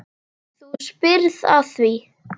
Þú spyrð að því.